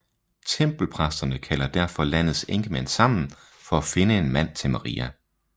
Tempelpræsterne kalder derfor landets enkemænd sammen for at finde en mand til Maria